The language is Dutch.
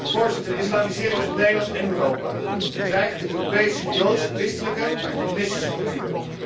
Voorzitter, de islamisering van Nederland en Europa bedreigt de Europese joods christelijke en humanistische cultuur.